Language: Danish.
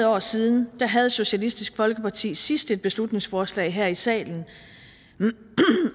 år siden havde socialistisk folkeparti sidst et beslutningsforslag her i salen